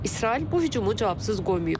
İsrail bu hücumu cavabsız qoymayıb.